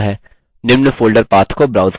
निम्न folder path को browse करें